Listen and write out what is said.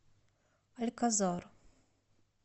альказар